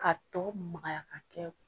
K'a tɔ magaya k'a kɛ